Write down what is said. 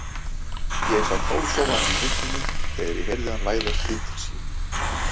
Ég sat hálfsofandi í myrkrinu þegar ég heyrði hann læðast inn til sín.